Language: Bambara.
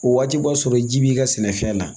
O waati b'a sɔrɔ ji b'i ka sɛnɛfɛn na